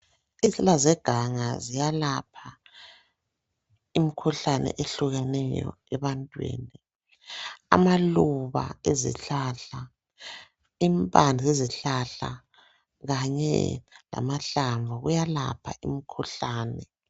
Izihlahla zeganga ziyalapha imikhuhlane ehlukeneyo ebantwini. Amaluba ezihlahla, impande zezihlahla, kanye lamahlamvu ezihlahla, kuyalapha imikhuhlane.